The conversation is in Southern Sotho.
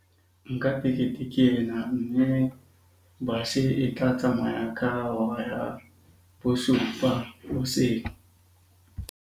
Nka tekete ke ena. Mme bus-e e tla tsamaya ka hora ya bosupa hoseng.